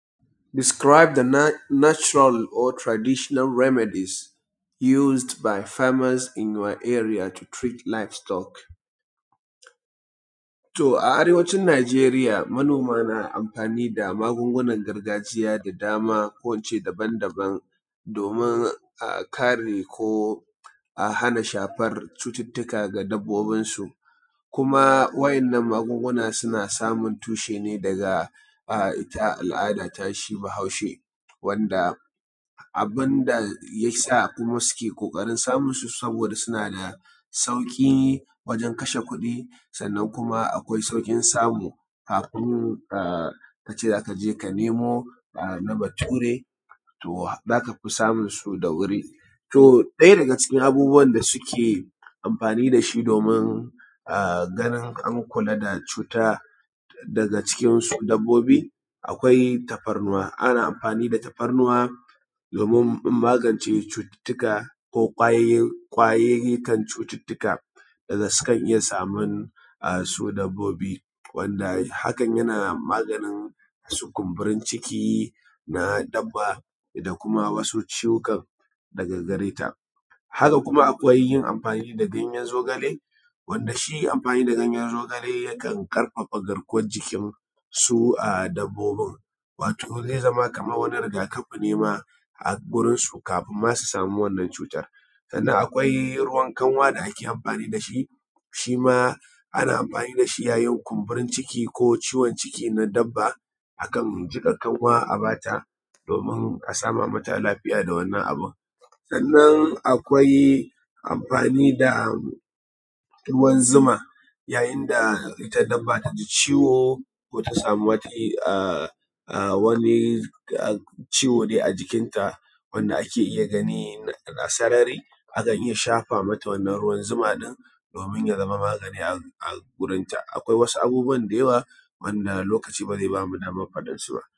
Describe the natural or traditional remedy used by farmers in your area to treat live stock. A arewacin Najeriya manoma na amfani magungunan gargajiya daban daban domin kare ko a hana shafan cututtuka ga dabbobinsu, kuma wa’innan magunguna suna samun tushe ne daga ita al'ada ta shi bahaushe, wanda abun da ya sa kuma suke ƙoƙarin samunsu saboda suna da sauƙi wajan kashe kuɗi sannan kuma akwai sauƙin samu, kafin ka ce za ka je ka nemo na bature, to za ka fi samun su da wuri. Ɗaya daga cikin abubuwan da suke amfani da shi domin ganin an kula da cuta daga cikin dabbobi akwai tafarnuwa, ana amfani da tafarnuwa domin magance cututtuka, ko ƙwayiyyikan cuttutuka da sukan iya saman su dabbobi wanda hakan yana maganin su kumburin ciki na dabba da kuma wasu ciwukan daga gareta. Haka kuma akwai yin amfani da ganyen zogale wanda shi amfani da ganyen zogale yakan ƙarfafa garkuwan jikin su dabbobin, wato zai zama kamar wani rigakafi ne na a gurin su kafin ma su samu wannan cutar. Sannan akwai ruwan kanwa da ake amfani da shi, shi ma ana amfani da shi yayin kumburin ciki ko ciwon ciki na dabba, akan jiƙa kanwa a ba ta domin a sama mata lafiya da wannan abun. Sannan akwai amfani da ruwan zuma yayin da ita dabba ta ji ciwo ko ta samu dai wani ciwo a jikinta wanda ake iya gani a sarari, akan iya shafa mata wannan ruwan zuman domin ya zama magani a gurin ta. Akwai wasu abubuwa da yawa wanda lokaci ba zai ba mu daman faɗar su ba.